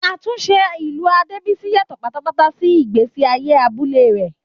Àtúnṣe ìlú Adebisi yàtọ̀ pátápátá sí ìgbésí ayé abúlé rẹ̀.